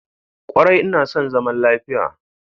Kwarai ina son zaman lafiya.